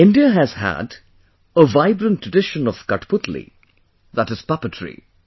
India has had a vibrant tradition of Kathputli, that is puppetry